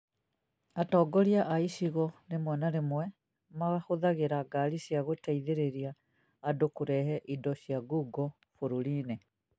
Atongoria a gĩcigo rĩmwe na rĩmwe magũthagĩra ngaari cia gũteithĩrĩria andũ kũrehe indo cia ngungo bũrũri-inĩ